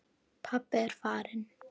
Pabbi er farinn.